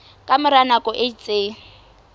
ka mora nako e itseng